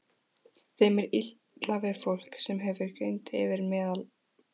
Þeim er illa við fólk, sem hefur greind yfir meðallagi.